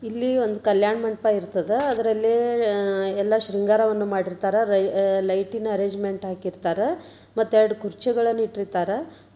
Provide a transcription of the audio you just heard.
ಇಲ್ಲಿ ಒಂದು ಕಲ್ಯಾಣ ಮಂಟಪ ಇರ್ತದ. ಅದರಲ್ಲಿ ಅಹ್ ಎಲ್ಲಾ ಶೃಂಗಾರವನ್ನು ಮಾಡಿರ್ತಾರ. ರೈ ಲೈಟ್ ಇನ ಅರೇಂಜ್ಮೆಂಟ್ ಹಾಕಿರ್ತಾರ. ಮತ್ತ ಎರಡ ಕುರ್ಚಿಗಳನ್ನು ಇಟ್ಟಿರ್ತಾರ.